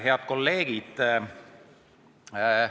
Head kolleegid!